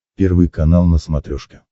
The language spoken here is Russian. первый канал на смотрешке